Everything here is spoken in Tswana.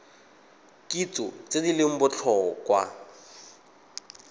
kitso tse di leng botlhokwa